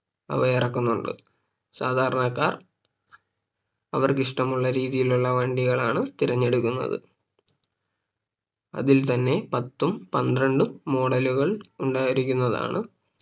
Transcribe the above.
അവര് ഇറക്കുന്നുണ്ട് സാധാരണക്കാർ അവർക്കിഷ്ടമുള്ള രീതിയിലുള്ള വണ്ടികളാണ് തിരഞ്ഞെടുക്കുന്നത് അതിൽ തന്നെ പത്തും പന്ത്രണ്ടും Model ലുകൾ ഉണ്ടായിരിക്കുന്നതാണ്